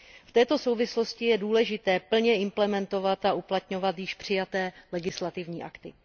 V této souvislosti je důležité plně implementovat a uplatňovat již přijaté legislativní akty.